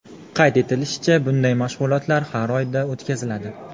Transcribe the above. Qayd etilishicha, bunday mashg‘ulotlar har oyda o‘tkaziladi.